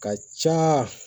Ka ca